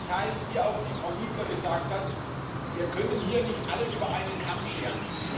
Das heißt wie auch Frau Niebler gesagt hat Wir können hier nicht alles über einen Kamm scheren.